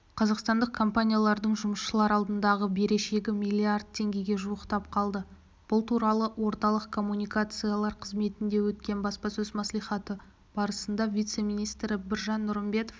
қазақстандық компаниялардың жұмысшылар алдындағы берешегі миллиард теңгеге жуықтап қалды бұл туралы орталық коммуникациялар қызметінде өткен баспасөз мәслихаты барысында вице-министрі біржан нұрымбетов